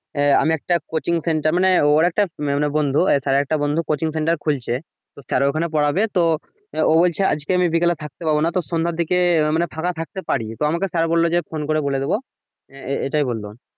আহ আমি একটা coaching center মানে ওর একটা মানে বন্ধু sir এর একটা বন্ধু coaching center খুলছে তো sir ওখানে পড়াবে তো ও বলছে আজকে বিকালে থাকতে পাবো তো সন্ধ্যার দিকে আহ ফাঁকা থাকতে পারি তো আমাকে sir বললো যে phone করে বলে দিবো আহ এটাই বললো।